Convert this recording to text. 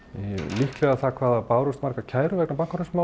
líklega það hvað það bárust margar kærur vegna